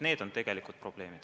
Need on tegelikult probleemid.